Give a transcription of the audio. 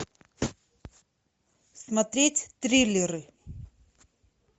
смотреть триллеры